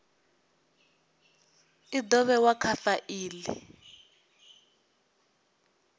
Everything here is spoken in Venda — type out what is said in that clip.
i do vhewa kha faili